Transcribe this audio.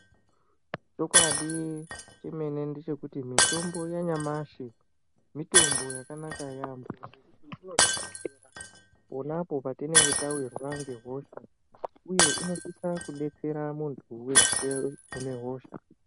Chikwadi chimweni ndechekuti mutombo yanyamashi mitombo yakanaka yambo ponapo patine ge tawirwa nehosha uye inosisa kudetsera muntu weshe anonga aworwa nehosha.